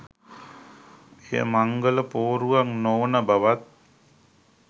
එය මංගල පෝරුවක් නොවන බවත්